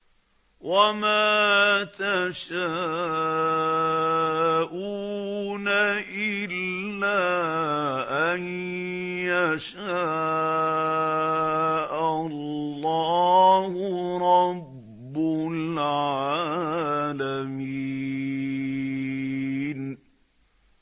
وَمَا تَشَاءُونَ إِلَّا أَن يَشَاءَ اللَّهُ رَبُّ الْعَالَمِينَ